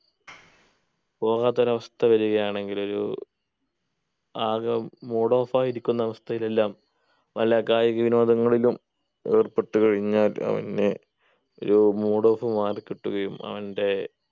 പോകാത്തൊരു അവസ്ഥ വരുകയാണെങ്കിൽ ഒരു ആകെ mood off ആയി ഇരിക്കുന്ന അവസ്ഥയിൽ എല്ലാം പല കായിക വിനോദങ്ങളിലും ഏർപ്പെട്ടു കഴിഞ്ഞാൽ അവന് ഒരു mood off മാറികിട്ടുകയും അവൻ്റെ